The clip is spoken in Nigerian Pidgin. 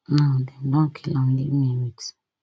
now dem don kill am leave me wit